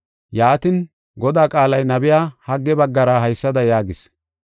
Yaatin, Godaa qaalay nabiya Hagge baggara haysada yaagis: